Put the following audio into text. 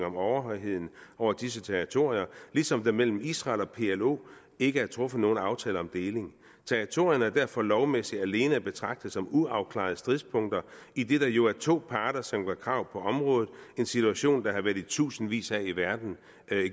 om overhøjheden over disse territorier ligesom der mellem israel og plo ikke er truffet nogen aftale om deling territorierne er derfor lovmæssigt alene at betragte som uafklarede stridspunkter idet der jo er to parter som gør krav på området en situation der har været i tusindvis af i verden